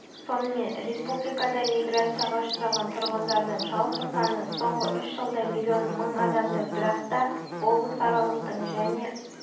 сонымен республикадағы миграцияға ұшыраған тұрғындардың жалпы саны соңғы үш жылда миллион мың адамды бірақта облысаралықтың және